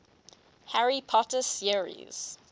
harry potter series